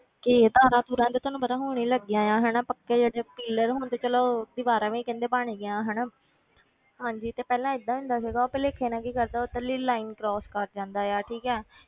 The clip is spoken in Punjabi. ਕਿ ਤਾਰਾਂ ਤੂਰਾਂ ਤੇ ਤੁਹਾਨੂੰ ਪਤਾ ਹੁਣੇ ਹੀ ਲੱਗੀਆਂ ਆਂ ਹਨਾ ਪੱਕੇ ਜਿਹੜੇ pillar ਹੁਣ ਤੇ ਚਲੋ ਦੀਵਾਰਾਂ ਵੀ ਕਹਿੰਦੇ ਬਣ ਗਈਆਂ ਹਨਾ ਹਾਂਜੀ ਤੇ ਪਹਿਲਾਂ ਏਦਾਂ ਹੁੰਦਾ ਸੀਗਾ ਉਹ ਭੁਲੇਖੇ ਨਾਲ ਕੀ ਕਰਦਾ ਉੱਧਰਲੀ line cross ਕਰ ਜਾਂਦਾ ਆ ਠੀਕ ਹੈ